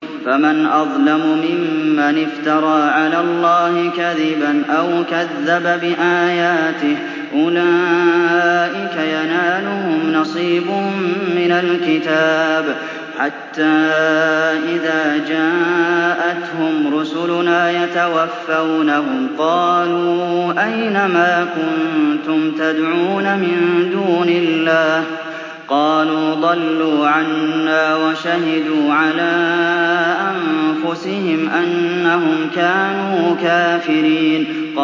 فَمَنْ أَظْلَمُ مِمَّنِ افْتَرَىٰ عَلَى اللَّهِ كَذِبًا أَوْ كَذَّبَ بِآيَاتِهِ ۚ أُولَٰئِكَ يَنَالُهُمْ نَصِيبُهُم مِّنَ الْكِتَابِ ۖ حَتَّىٰ إِذَا جَاءَتْهُمْ رُسُلُنَا يَتَوَفَّوْنَهُمْ قَالُوا أَيْنَ مَا كُنتُمْ تَدْعُونَ مِن دُونِ اللَّهِ ۖ قَالُوا ضَلُّوا عَنَّا وَشَهِدُوا عَلَىٰ أَنفُسِهِمْ أَنَّهُمْ كَانُوا كَافِرِينَ